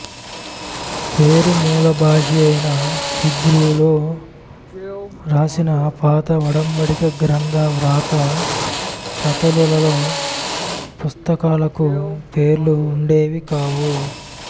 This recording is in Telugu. పేరు మూల భాషయైన హీబ్రూలో రాసిన పాత ఒడంబడిక గ్రంథ వ్రాత ప్రతులలో పుస్తకాలకు పేర్లు ఉండేవి కావు